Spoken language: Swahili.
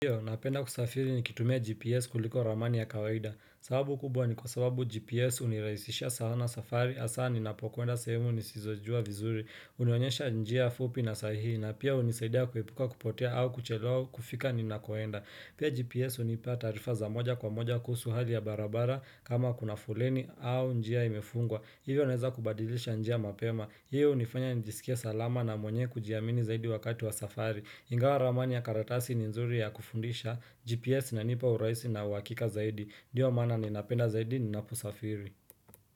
Iyo, napenda kusafiri nikitumia GPS kuliko ramani ya kawaida. Sababu kubwa ni kwa sababu GPS unirahisisha sana safari hasa ninapokwenda sehemu nisizojua vizuri. Unionyesha njia fupi na sahihi na pia unisaidia kuhepuka kupotea au kuchelewa kufika ninakoenda. Pia GPS hunipa taarifa za moja kwa moja kuhusu hali ya barabara kama kuna fuleni au njia imefungwa. Hivyo naweza kubadilisha njia mapema. Hiyo hunifanya nijisikia salama na mwenyewe kujiamini zaidi wakati wa safari. Ingawa ramani ya karatasi ni nzuri ya kufundisha, GPS ina unipa urahisi na uhakika zaidi ndio maana ni napenda zaidi ni napo safiri.